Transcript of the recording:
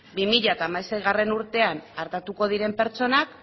bi mila hamaseigarrena urtean artatuko diren pertsonak